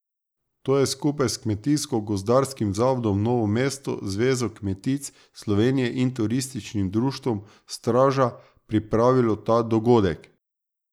To je skupaj s Kmetijsko gozdarskim zavodom Novo mesto, Zvezo kmetic Slovenije in Turističnim društvom Straža pripravilo ta dogodek.